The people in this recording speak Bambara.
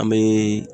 An bɛ